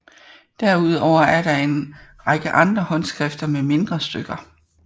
Derudover er der en række andre håndskrifter med mindre stykker